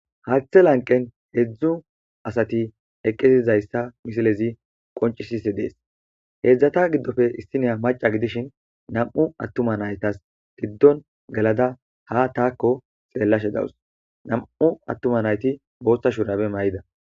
Haathe lanqen heedzdzu asati eqqisizayssa misilezi qoncisise dees heedzdzata giddofe issiniya maca gidishin nam7u attuma naytas tiddon galada ha taakko xeellashe dawus nam7u attuma nayti boosta shurabe may7ida